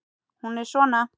Hún er svona: